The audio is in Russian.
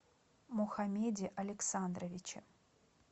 мухамеде александровиче